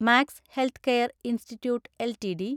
max Healthcare Institute LTD